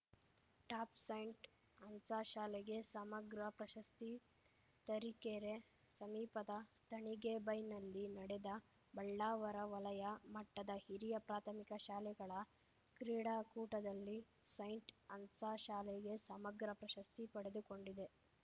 top saint Anne's ಶಾಲೆಗೆ ಸಮಗ್ರ ಪ್ರಶಸ್ತಿ ತರೀಕೆರೆ ಸಮೀಪದ ತಣಿಗೇಬೈಲ್ನಲ್ಲಿ ನಡೆದ ಬಳ್ಳಾವರ ವಲಯ ಮಟ್ಟದ ಹಿರಿಯ ಪ್ರಾಥಮಿಕ ಶಾಲೆಗಳ ಕ್ರೀಡಾಕೂಟದಲ್ಲಿ ಸೈಂಟ್‌ ಆನ್ಸ್‌ ಶಾಲೆಗೆ ಸಮಗ್ರ ಪ್ರಶಸ್ತಿ ಪಡೆದುಕೊಂಡಿದೆ